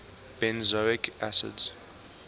benzoic acids